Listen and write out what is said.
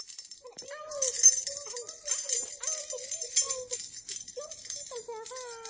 Hann er ekki algjör nýgræðingur í stjórn spítalans eða hvað?